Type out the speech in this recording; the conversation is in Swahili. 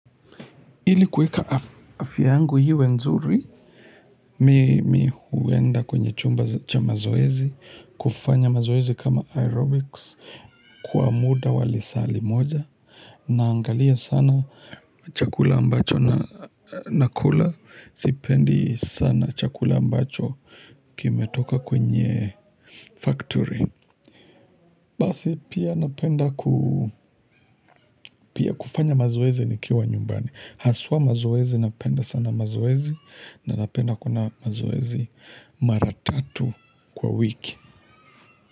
Ilikuweka afya yangu iwe nzuri, mi huenda kwenye chumba cha mazoezi, kufanya mazoezi kama aerobics, kwa muda wa lisa li moja, naangalia sana chakula ambacho na na kula, sipendi sana chakula ambacho kime toka kwenye factory. Basi pia napenda kufanya mazoezi nikiwa nyumbani Haswa mazoezi napenda sana mazoezi na napenda kuna mazoezi maratatu kwa wiki.